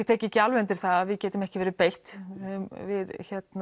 tek ekki alveg undir það að við getum ekki verið beitt við